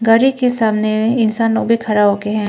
गाड़ी के सामने इंसानों के खड़ा होके हैं।